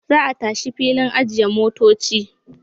Za a tashi filin ajiye motoci.